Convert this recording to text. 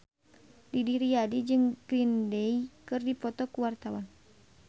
Didi Riyadi jeung Green Day keur dipoto ku wartawan